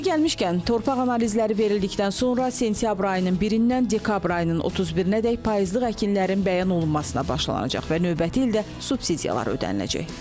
Yeri gəlmişkən, torpaq analizləri verildikdən sonra sentyabr ayının birindən dekabr ayının 31-dək payızlıq əkinlərin bəyan olunmasına başlanılacaq və növbəti ildə subsidiyalar ödəniləcək.